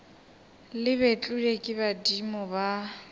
le betlilwe ke badimo ba